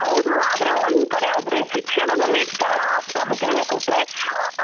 ಹೌದು ಆದ್ರೆ ಒಂದ್ ಕಡೆ ಆದ್ರೆ ಶಿಕ್ಷಣದಲ್ಲಿ ಕನ್ನಡ ಪ್ರಾಮುಖ್ಯತೆ ಕೊಟ್ರೆ